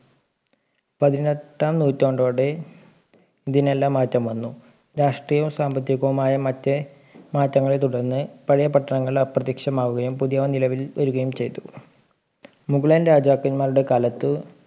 പതിനെട്ടാം നൂറ്റാണ്ടോടെ ഇതിനെല്ലാം മാറ്റം വന്നു രാഷ്ട്രീയവും സാമ്പത്തികവുമായ മറ്റ് മാറ്റങ്ങളെ തുടർന്ന് പഴയ പട്ടണങ്ങൾ അപ്രതീക്ഷിതമാവുകയും പുതിയവ നിലവിൽ വരുകയും ചെയ്തു മുകളൻ രാജക്കന്മാരുടെ കാലത്ത്